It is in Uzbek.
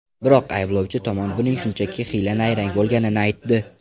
Biroq ayblovchi tomon buning shunchaki hiyla-nayrang bo‘lganini aytdi.